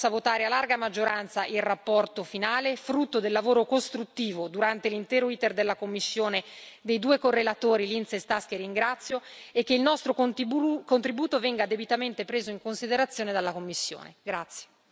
Mi auguro che la plenaria di mercoledì possa votare a larga maggioranza la relazione finale, frutto del lavoro costruttivo, durante l'intero iter della commissione, dei due relatori, Lins e Staes, che ringrazio, e che il nostro contributo venga debitamente preso in considerazione dalla Commissione.